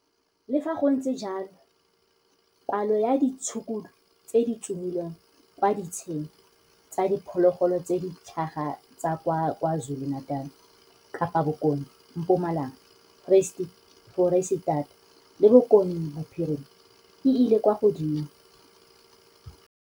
Le fa gontse jalo, palo ya ditshukudu tse di tsomilweng kwa ditsheng tsa diphologolo tse di tlhaga tsa kwa KwaZulu Natal, Kapa Bokone, Mpumalanga, Foreisetata le Bokone Bophirima e ile kwa godimo.